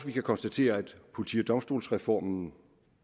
vi kan konstatere at politi og domstolsreformen